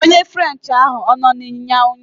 Onye french ahụ ọ nọ n'ịnyịnya ụnyaahụ?